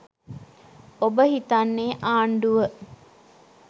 ඔබ හිතන්නේ ආණ්ඩුව